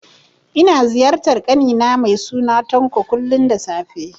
Ina ziyartar ƙani na mai suna Tanko, kullum da safe